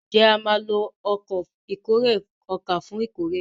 Njé a má ló Ọkọ̀ ìkórè ọkà fún ìkórè?